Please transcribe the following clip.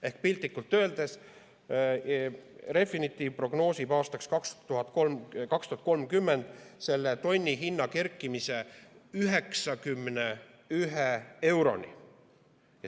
Ehk piltlikult öeldes: Refinitiv prognoosib aastaks 2030 selle tonni hinna kerkimist 91 euroni.